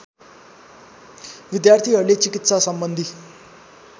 विद्यार्थीहरूको चिकित्सा सम्बन्धी